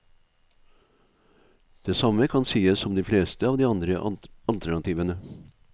Det samme kan sies om de fleste av de andre alternativene.